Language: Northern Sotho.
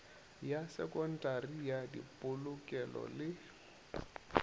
ya sekontari ya dipolokelo le